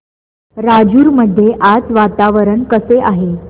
राजूर मध्ये आज वातावरण कसे आहे